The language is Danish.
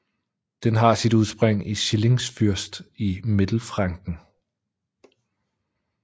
Den har sit udspring i Schillingsfürst i Mittelfranken